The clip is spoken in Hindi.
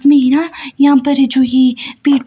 यहां पर है जो है पेड़